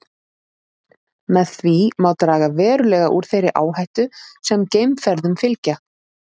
Með því má draga verulega úr þeirri áhættu sem geimferðum fylgja.